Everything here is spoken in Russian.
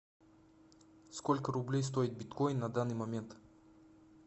сколько рублей стоит биткоин на данный момент